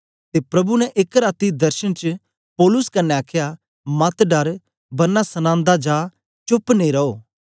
ते प्रभु ने एक राती दर्शन च पौलुस कन्ने आखया मत डर बरना सनांदा जा चोप्प नेई रो